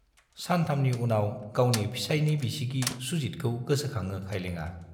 सानथामनि उनाव गावनि फिसाइनि बिसिगि सुजितखौ गोसोखाङो खाइलेंआ।